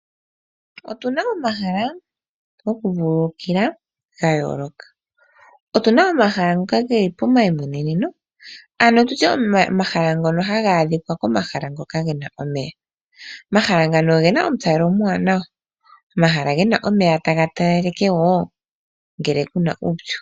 Otuna omahala goku vululukila ga yooloka. Otuna omahala ngoka geli pomayimweneneno ano omahala ngono haga adhika komahala ngoka omeya . Omahala ngano ogena omu talelo omuwanawa. Omahala gena omeya taga talaleke woo ngele kuna uupyu.